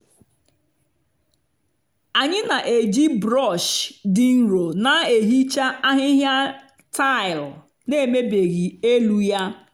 anyị na-eji brọsh dị nro na-ehicha ahịhịa tile na-emebighị elu ya.